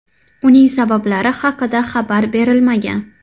Uning sabablari haqida xabar berilmagan.